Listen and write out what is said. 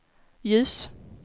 ljus